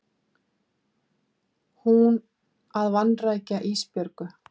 Hún að vanrækja Ísbjörgu.